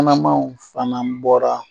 Kunnamanw fana bɔra